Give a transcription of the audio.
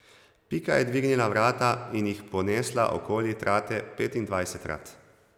Pika je dvignila vrata in jih ponesla okoli trate petindvajsetkrat.